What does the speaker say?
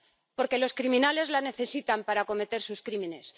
Porque los criminales la necesitan para cometer sus crímenes.